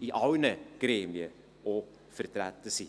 in allen Gremien auch vertreten sein.